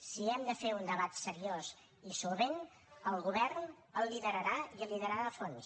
si hem de fer un debat seriós i solvent el govern el liderarà i el liderarà a fons